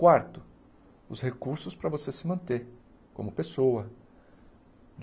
Quarto, os recursos para você se manter como pessoa.